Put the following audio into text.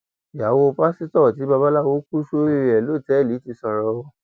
ìyàwó pásítọ tí babaláwo kù sórí rẹ lọtẹẹlì ti sọrọ o